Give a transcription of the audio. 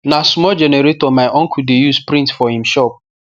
na small generator my uncle de use print for him shop